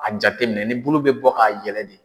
A jate minɛ ni bulu bɛ bɔ ka yɛlɛ de.